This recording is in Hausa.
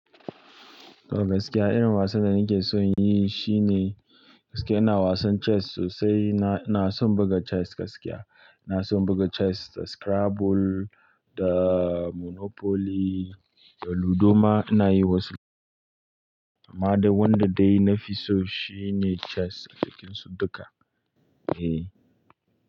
To gaskiya irin wasan da nake son in yi shine gaskiya ina wasan chess sosai. Ina, ina son buga chess gaskiya. Ina son buga chess da Scrabble da Monopoly da Ludoma ina yi wasu. Amma dai wanda dai na fi so shine chess a cikinsu duka. Eh.